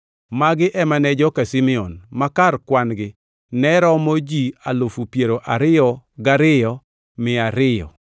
Magi ema ne joka Simeon; ma kar kwan-gi ne romo ji alufu piero ariyo gariyo mia ariyo (22,200).